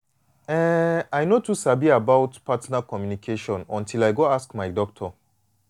eh i no too sabi about partner communication until i go ask my doctor.